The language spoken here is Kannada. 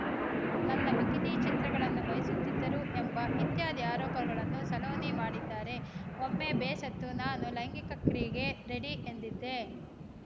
ನನ್ನ ಬಿಕಿನಿ ಚಿತ್ರಗಳನ್ನು ಬಯಸುತ್ತಿದ್ದರು ಎಂಬ ಇತ್ಯಾದಿ ಆರೋಪಗಳನ್ನು ಸಲೋನಿ ಮಾಡಿದ್ದಾರೆ ಒಮ್ಮೆ ಬೇಸತ್ತು ನಾನು ಲೈಂಗಿಕ ಕ್ರಿಯೆಗೆ ರೆಡಿ ಎಂದಿದ್ದೆ